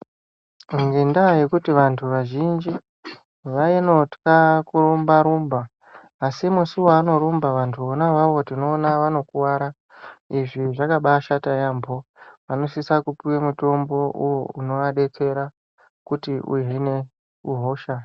Ngendaa yekuti antu azhinji anotya kurumba rumba asimusi wanorumba antu ona iwawo tinoona vanokuwara izvi zvakabashata yambo vanosisa kupuwa mutombo unovabetsera kuti uhine hosha